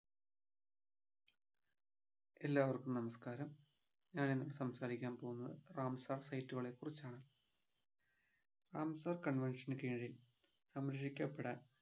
എല്ലാവർക്കും നമസ്‍കാരം ഞാൻ ഇന്ന് സംസാരിക്കാൻ പോകുന്നത് റാംസാർ Site കളെ കുറിച്ചാണ് റാംസാർ convention നു കിഴിൽ സംരക്ഷിക്കപ്പെടാൻ